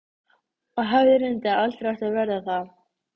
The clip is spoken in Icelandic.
Belgurinn var grábleikur, þakinn fellingum og minnti helst á hval.